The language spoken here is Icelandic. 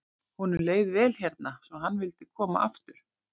Honum leið vel hérna svo hann vildi koma aftur.